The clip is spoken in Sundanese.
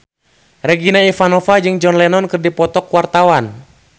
Regina Ivanova jeung John Lennon keur dipoto ku wartawan